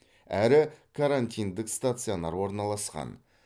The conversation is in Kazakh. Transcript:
әрі карантиндік стационар орналасқан